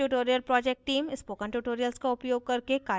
spoken tutorial project team